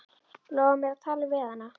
Lofaðu mér að tala við hana.